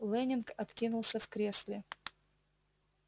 лэннинг откинулся в кресле